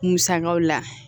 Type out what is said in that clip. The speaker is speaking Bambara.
Musakaw la